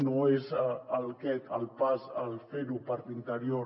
no és aquest el pas el fer ho per l’interior